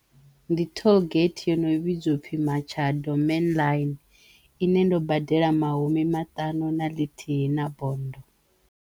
Ndi toll gate yono vhidzwa upfhi Makhado main line ine ndo badela mahumi matanu na ḽithihi na bonndo.